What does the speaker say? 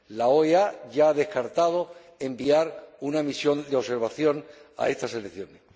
la OEA ya ha descartado enviar una misión de observación a estas elecciones.